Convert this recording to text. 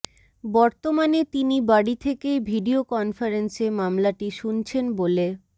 বর্তমানে তিনি বাড়ি থেকেই ভিডিয়ো কনফারেন্সে মামলাটি শুনছেন বলে